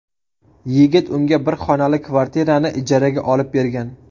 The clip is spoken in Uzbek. Yigit unga bir xonali kvartirani ijaraga olib bergan.